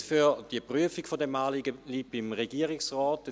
Die Kompetenz für die Prüfung dieses Anliegens bleibt beim Regierungsrat.